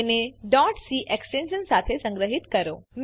તેને c extension સાથે સંગ્રહીત કરો